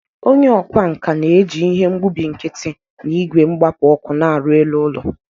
Onye ọkwá nkà na-eji ihe mgbubi nkiti na igwe mgbapu ọkụ na-arụ elu ụlọ.